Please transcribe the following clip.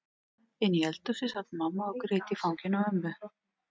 Inni í eldhúsi sat mamma og grét í fanginu á ömmu.